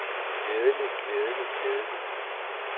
glædelig glædelig glædelig